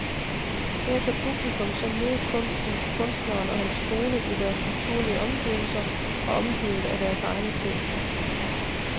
Her kan publikum så møde både kunsten, kunstneren og hans kone i deres naturlige omgivelser og omgivet af deres egne ting.